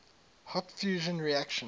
hot fusion reactions